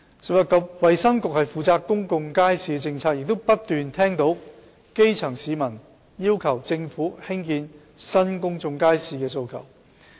食物及衞生局負責公眾街市的政策，亦不斷聽到基層市民要求政府興建新公眾街市的訴求。